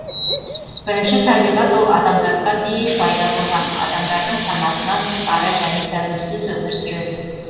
бірінші табиғат ол адамзатқа дейін пайда болған адамдардың санасынан тысқары және тәуелсіз өмір сүреді